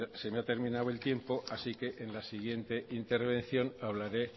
se me ha terminado el tiempo así que en la siguiente intervención hablaré